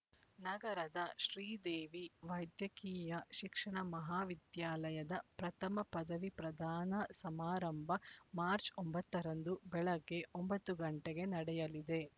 ನಗರದ ಶ್ರೀದೇವಿ ವೈದ್ಯಕೀಯ ಶಿಕ್ಷಣ ಮಹಾವಿದ್ಯಾಲಯದ ಪ್ರಥಮ ಪದವಿ ಪ್ರದಾನ ಸಮಾರಂಭ ಮಾರ್ಚ್ ಒಂಬತ್ತು ರಂದು ಬೆಳಗ್ಗೆ ಒಂಬತ್ತು ಗಂಟೆಗೆ ನಡೆಯಲಿದೆ